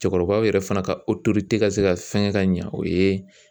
Cɛkɔrɔbaw yɛrɛ fana ka tɛ ka se ka fɛngɛ ka ɲa o ye